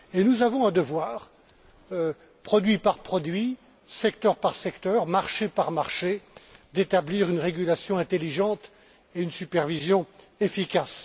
Nous avons un devoir, produit par produit, secteur par secteur, marché par marché, d'établir une régulation intelligente et une supervision efficace.